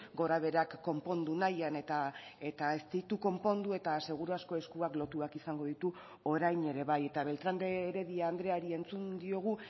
gorabeherak konpondu nahian eta ez ditu konpondu eta seguru asko eskuak lotuak izango ditu orain ere bai eta beltrán de heredia andreari entzun diogu